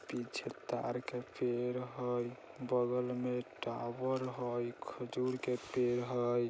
पीछे ताड़ के पेड़ हई बगल मे टावर हई खजूर के पेड़ हई |